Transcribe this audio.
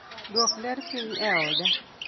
dwok ler piny e oda